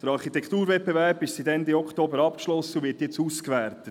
Der Architekturwettbewerb ist seit Ende Oktober abgeschlossen und wird jetzt ausgewertet.